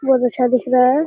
ये ऊंचा दिख रहा है।